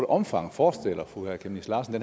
omfang forestiller fru aaja chemnitz larsen at